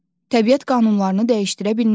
Təbiət qanunlarını dəyişdirə bilmərik.